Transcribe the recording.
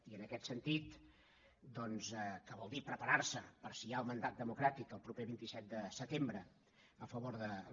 i en aquest sentit que vol dir preparar se per si hi ha el mandat democràtic el proper vint set de setembre a favor de de la